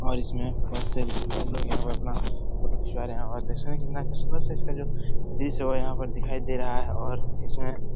और इस में अपना फोटो खिचवा रहे हैं इसका जो दृश्य बढ़िया दिखाई दे रहा है और इसमें --